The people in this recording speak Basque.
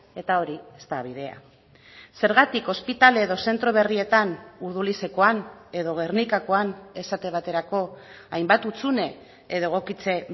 eta hori ez da bidea zergatik ospitale edo zentro berrietan urdulizekoan edo gernikakoan esate baterako hainbat hutsune edo egokitze